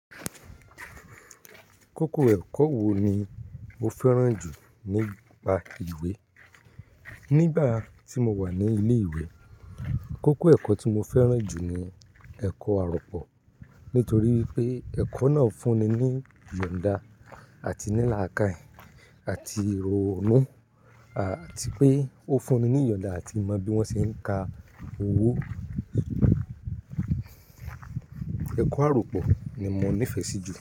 Kókó ẹ̀kọ́ wo ni o fẹ́ràn jù nípa ìwé? Nígbà tí mo wà ní ilé ìwé, kókó ẹ̀kọ́ tí mo fẹ́ràn jù ni ẹ̀kọ́ àrọ́pọ̀. Nítorí pé ẹ̀kọ́ náà fún ni ní ìyọ̀nda àti ní làákàì àti ìrònú, àti pé ó fún ni ní ìyọ̀nda àti mọ bí wọ́n ṣe ń ka owó. Ẹ̀kọ́ àropọ̀ ni mo nífẹ̀ẹ́ sí jù.